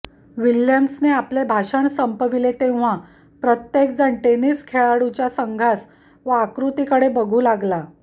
विल्यम्सने आपले भाषण संपविले तेव्हा प्रत्येकजण टेनिस खेळाडुच्या संघास व आकृतीकडे बघू लागला